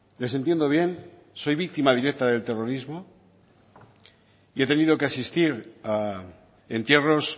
les entiendo bien soy víctima directa del terrorismo yo he tenido que asistir a entierros